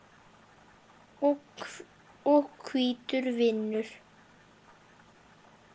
og hvítur vinnur.